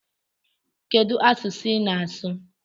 Kedu asụsụ ị na-asụ?